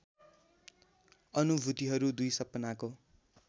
अनुभूतिहरू २ सपनाको